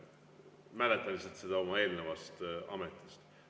Mäletan seda lihtsalt oma eelnevast ametist.